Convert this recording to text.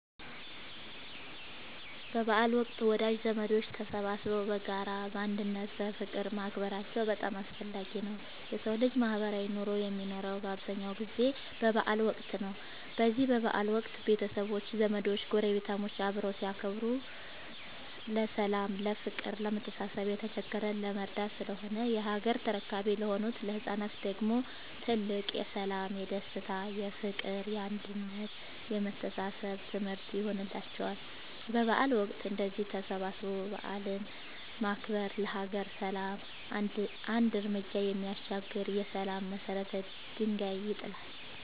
በበዓል ወቅት ወዳጅ ዘመዶች ተሰባስበው በጋራ፣ በአንድነት እና በፍቅር ማክበራቸው በጣም አስፈላጊ ነው የሠው ልጅ ማህበራዊ ኑሮ የሚኖረው በአብዛኛው ጊዜ በበዓል ወቅት ነው። በዚህ በበዓል ወቅት ቤተሰቦች፣ ዘመዶች ጐረቤታሞች አብረው ሲያከብሩ ለሠላም፤ ለፍቅር፣ ለመተሳሰብ፣ የተቸገረን ለመርዳት ስለሆነ የሀገር ተረካቢ ለሆኑት ለህፃናት ደግሞ ትልቅ የሠላም፣ የደስታ፣ የፍቅር፣ የአንድነት የመተሳሰብ ትምህርት ይሆንላቸዋል። በበዓል ወቅት እንደዚህ ተሰባስቦ በዓልን ማክበር ለሀገር ሰላም አንድ ርምጃ የሚያሻግር የሠላም የመሰረት ድንጋይ ይጥላል።